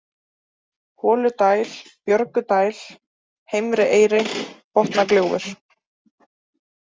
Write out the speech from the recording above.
Holudæl, Björgudæl, Heimri-Eyri, Botnagljúfur